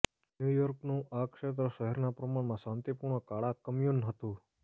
new યોર્કનું આ ક્ષેત્ર શહેરના પ્રમાણમાં શાંતિપૂર્ણ કાળા કમ્યુન હતું